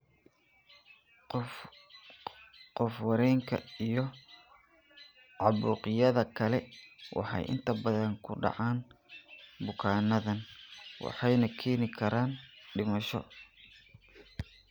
Oof wareenka iyo caabuqyada kale waxay inta badan ku dhacaan bukaanadaan waxayna keeni karaan dhimasho.